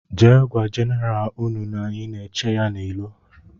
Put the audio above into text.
Jee gwa jeneral ụnụ na anyị na -eche ya n' ilo.